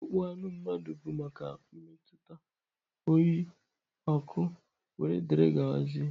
Akpụkpọ anụ mmadụ bụ maka mmetụta, oyi, ọkụ wdg.